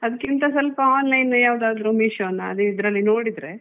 ಅದ್ಕಿಂತ ಸ್ವಲ್ಪ online ಯಾವ್ದಾದ್ರು Meesho ನ ಅದು ಇದ್ರಲ್ಲಿ ನೋಡಿದ್ರೆ.